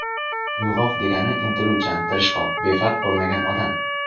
Uyg‘oq degani intiluvchan, tirishqoq, befarq bo‘lmagan odam.